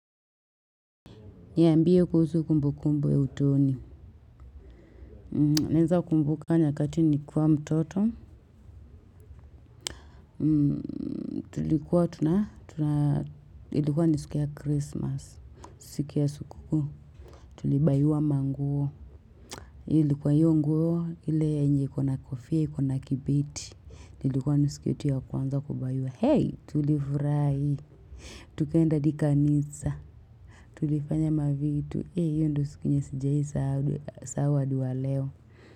Niambie kuhusu kumbu kumbu ya utoni. Naeza kumbuka nyakati nikiwa mtoto. Tulikuwa tunatuna. Ilikuwa ni siku ya Christmas. Siku ya sukuku. Tulibaywa manguo. Ilikuwa hiyo nguo. Ile yenye ikona kofia, ikona kibeti. Ilikuwa ni siku yetu ya kwanza kubaywa. Hey, tulifurai. Tukaenda hadi kanisa. Tulifanya mavitu. Hey, hiyo ndo siku yenye sijaisa. Sawa adi wa leo.